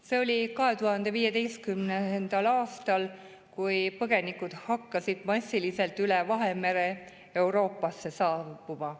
See oli 2015. aastal, kui põgenikud hakkasid massiliselt üle Vahemere Euroopasse saabuma.